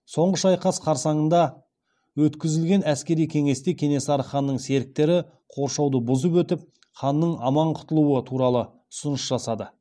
соңғы шайқас қарсаңында өткізілген әскери кеңесте кенесары ханның серіктері қоршауды бұзып өтіп ханның аман құтылуы туралы ұсыныс жасады